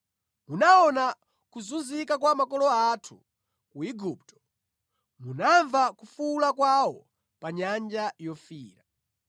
“Munaona kuzunzika kwa makolo athu ku Igupto. Munamva kufuwula kwawo pa Nyanja Yofiira.